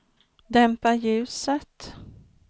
dämpa ljuset